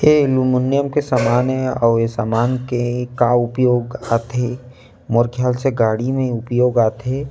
ए aluminium के सामान हे अउ ए समान के का उपयोग आथे मोर ख्याल से गाड़ी में उपयोग आथे।